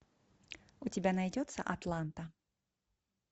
у тебя найдется атланта